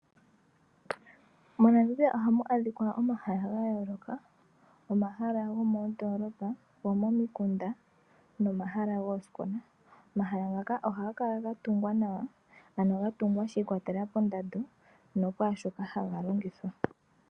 MoNamibia ohamu adhika omahala gayooloka. Omahala gomoondolopa gomomikunda nomahala goosikola . Omahala ngaka ohaga kala ga tungwa nawa ano gatungwa shiikwatelela pondando nokwaashoka haga longithwa.